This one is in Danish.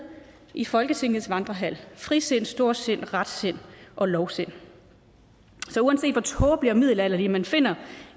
i folketingets vandrehal frisind storsind retsind og lovsind så uanset hvor tåbelig og middelalderlig man finder